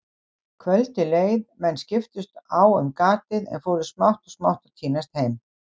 Kvöldið leið, menn skiptust á um gatið en fóru smátt og smátt að tínast heim.